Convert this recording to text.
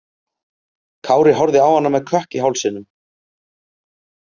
Kári horfði á hana með kökk í hálsinum.